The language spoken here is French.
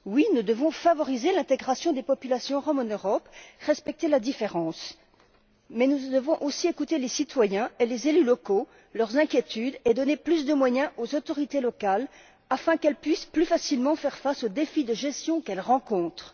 Oui, nous devons favoriser l'intégration des populations roms en Europe et respecter la différence. Mais nous devons aussi écouter les citoyens et les élus locaux, leurs inquiétudes et donner plus de moyens aux autorités locales, afin qu'elles puissent, plus facilement, faire face aux défis de gestion qu'elles rencontrent.